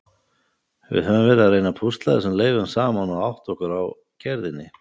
Við höfum verið að reyna að púsla þessum leifum saman og átta okkur á gerðinni.